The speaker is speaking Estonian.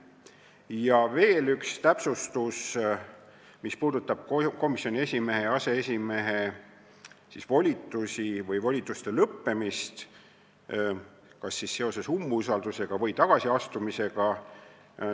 Ja veel üks täpsustus, mis puudutab komisjoni esimehe ja aseesimehe volituste lõppemist kas seoses umbusalduse avaldamisega või tagasiastumisega.